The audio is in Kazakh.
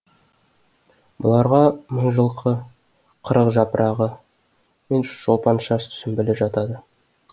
бұларға мыңжылқы қырықжапырағы мен шолпаншаш сүмбілі жатады